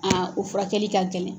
o furakɛli ka gɛlɛn.